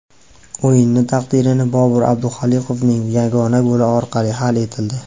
O‘yini taqdiri Bobir Abduholiqovning yagona goli orqali hal etildi.